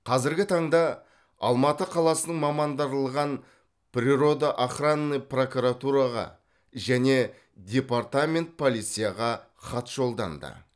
қазіргі таңда алматы қаласының мамандырылған природо охранный прокуратураға және департамент полицияға хат жолданды